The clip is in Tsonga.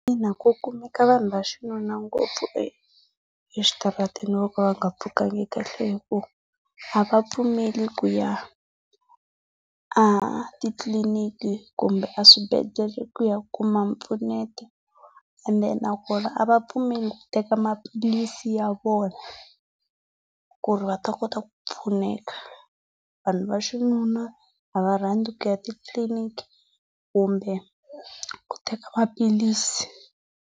Ina ku kumeka vunhu va xinuna ngopfu exitarateni vo ka va nga pfukanga kahle hi ku a va pfumeli ku ya a titliliniki kumbe a swwibedlhele ku ya kuma mpfuneto ende nakona a va pfumeli ku teka maphilisi ya vona, ku ri va ta kota ku pfuneka. Vanhu va xinuna, a va rhandzi ku ya ti-clinic kumbe ku teka maphilisi.